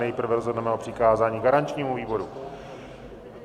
Nejprve rozhodneme o přikázání garančnímu výboru.